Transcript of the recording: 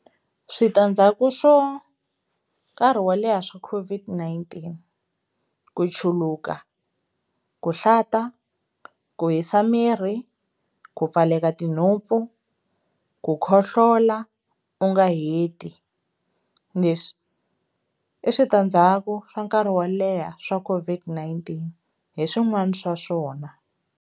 Switandzhaku swo nkarhi wo leha swa COVID-19 ku chuluka, ku hlanta, ku hisa miri, ku pfaleka tinhompfu, ku ku khohlola u nga heti, leswi i switandzhaku swa nkarhi wo leha swa Coid-19 hi swin'wani swa swona.